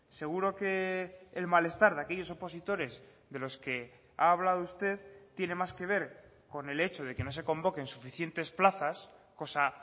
seguro que el malestar de aquellos opositores de los que ha hablado usted tiene más que ver con el hecho de que no se convoquen suficientes plazas cosa